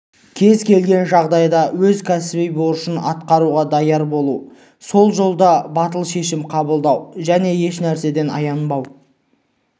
кез-келген жағдайда өз кәсіби борышын атқаруға даяр болу сол жолда батыл шешім қабылдау және ешнәрседен аянбау